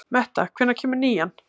Metta, hvenær kemur nían?